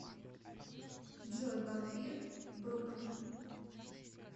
джой вампир бруклина